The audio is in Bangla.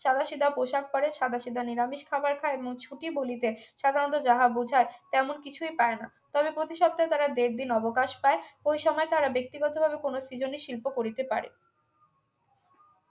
সাদাসিধা পোশাক পরে সাদাসিধা নিরামিষ খাবার খায় এবং ছুটি বলিতে সাধারণত যাহা বোঝায় তেমন কিছুই পায় না তবে প্রতি সপ্তাহে তারা দেড় দিন অবকাশ পায় ওই সময় তারা ব্যক্তিগতভাবে কোন সৃজনী শিল্প করিতে পারে